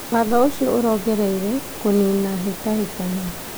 Watho ũcio ũrongoreirie kũnina hĩtahĩtano